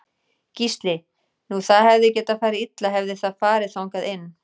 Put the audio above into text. Gísli: Nú það hefði getað farið illa hefði það farið þangað inn?